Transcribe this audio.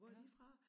Hvor er de fra